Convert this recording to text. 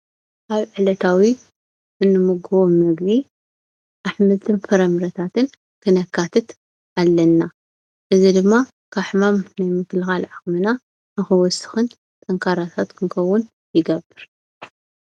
ኣብ ዕለታዊ እንምገቦም ምግቢ ኣሕምልትን ፍረምረታትን ክነካትት ኣለና፡፡ እዚ ድማ ካብ ሕማም ምክልኻል ዓቕምና ንኽውስኽን ጠንካራታት ክንከውን ይገብር፡፡